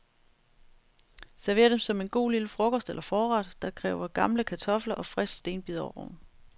Server dem som en god lille frokost eller forret, der kræver gamle kartofler, og frisk stenbiderrogn.